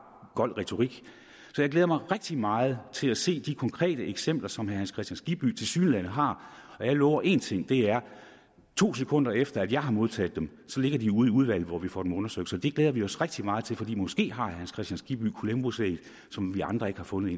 gold retorik så jeg glæder mig rigtig meget til at se de konkrete eksempler som herre hans kristian skibby tilsyneladende har jeg lover én ting og det er at to sekunder efter jeg har modtaget dem ligger de ude i udvalget hvor vi får dem undersøgt det glæder vi os rigtig meget til for måske har herre hans kristian skibby et columbusæg som vi andre ikke har fundet